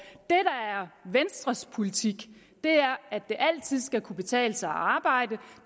venstres politik er at det altid skal kunne betale sig at arbejde